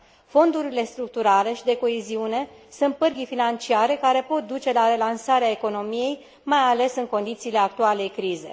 Fondurile structurale și de coeziune sunt pârghii financiare, care pot duce la relansarea economiei, mai ales în condițiile actualei crize.